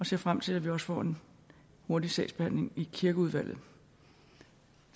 ser frem til at vi også får en hurtig sagsbehandling i kirkeudvalget